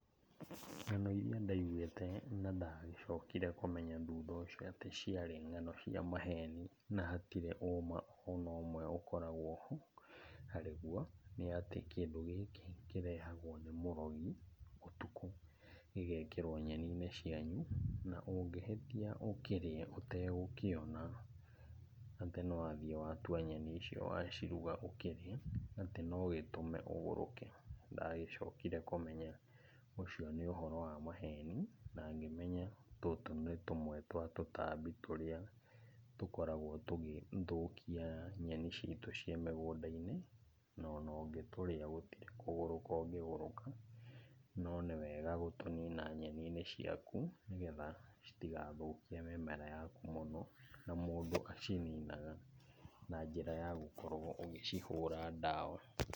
Ng'ano iria ndaiguĩte na ndagĩcokire kũmenya thutha ũcio, atĩ ciarĩ ng'ano cia maheni na hatirĩ ũma ona ũmwe ũkoragwo ho, harĩguo. Nĩ atĩ kĩndũ gĩkĩ kĩrehagwo nĩ mũrogi ũtukũ, gĩgekĩrwo nyeni-inĩ cianyu, na ũngĩhĩtia ũkĩrĩe ũtegũkĩona, atĩ nĩwathiĩ watua nyeni icio waciruga ũkĩrĩe, atĩ nogĩtũme ũgũrũke. Ndagĩcokire kũmenya ũcio nĩ ũhoro wa maheni, na ngĩmenya tũtũ nĩ tũmwe twa tũtambi tũrĩa tũkoragwo tũgĩthũkia nyeni citũ ciĩ mĩgũnda-inĩ, no onongĩtũrĩa gũtirĩ kũgũrũka ũngĩgũrũka. No nĩwega gũtũnina nyeninĩ ciaku, nĩgetha citigathũkie mĩmera yaku mũno. Na mũndũ acininaga na njĩra yagũkorwo ũgĩcihũra ndawa.